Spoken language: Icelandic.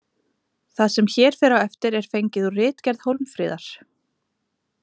Það sem hér fer á eftir er fengið úr ritgerð Hólmfríðar.